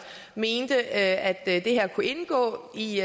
mente at det her kunne indgå i